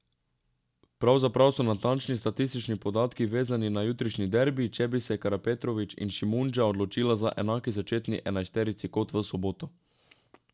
Pravzaprav so natančni statistični podatki vezani na jutrišnji derbi, če bi se Karapetrović in Šimundža odločila za enaki začetni enajsterici kot v soboto.